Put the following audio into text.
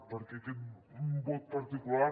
perquè aquest vot particular